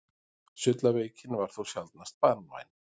Sullaveikin var þó sjaldnast banvæn.